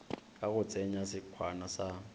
ka go tsenya sekhwama sa